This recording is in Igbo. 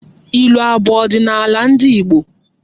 Ilu abụ ọdịnala ndị Igbo?